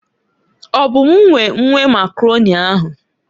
Ọ bụ m nwe nwe Makaroni ahu.